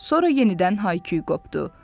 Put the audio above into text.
Sonra yenidən hay-küy qopdu.